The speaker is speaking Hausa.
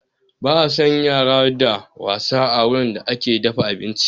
Ba a san yara da wasa a wurin da ake dafa abinci